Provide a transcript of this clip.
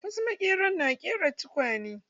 Wasu maƙeran na ƙera tukwane.